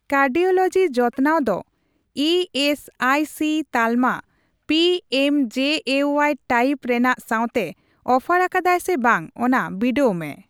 Cardiology ᱡᱚᱛᱚᱱᱟᱣ ᱫᱚ E S I C ᱛᱟᱞᱢᱟ ᱯᱤᱮᱢᱡᱮᱮᱣᱟᱭ ᱴᱟᱭᱤᱯ ᱨᱮᱱᱟᱜ ᱥᱟᱣᱛᱮ ᱚᱯᱷᱟᱨ ᱟᱠᱟᱫᱟᱭ ᱥᱮ ᱵᱟᱝ ᱚᱱᱟ ᱵᱚᱰᱟᱣ ᱢᱮ ᱾